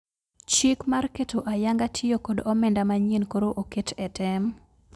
Chik mar keto ayanga tiyo kod omenda manyien koro oket e tem